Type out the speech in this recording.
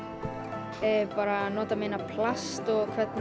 bara að nota minna plast og hvernig